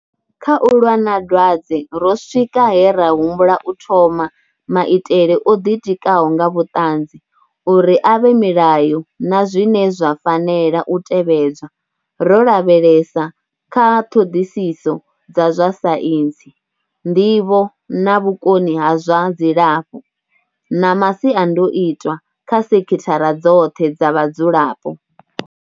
Kha u lwa na dwadze ro swika he ra humbula u thoma maitele o ḓitikaho nga vhuṱanzi uri a vhe milayo na zwine zwa fanela u tevhedzwa, ro lavhelesa kha ṱhoḓisiso dza zwa saintsi, nḓivho na vhukoni ha zwa dzilafho, na masiandoitwa kha sekhithara dzoṱhe dza vha dzulapo.